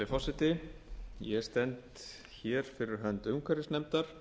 virðulegi forseti ég stend hér fyrir hönd umhverfisnefndar